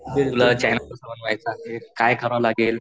मी तुला चॅनेल कसा बनवायचा, काय करावं लागेल